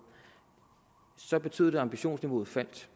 så betød det at ambitionsniveauet faldt